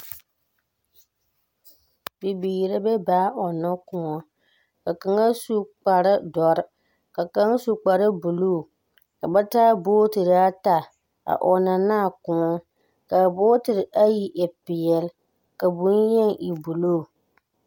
Bibiiri la e baa a ͻnnͻ kõͻ. Ka kaŋa su kpare dͻre, ka kaŋa su kpare buluu. Ka ba taa bootiri ata a ͻnnͻ ne a kõͻ. Ka a bootiri ayi e peԑle, ka boŋyeni e buluu.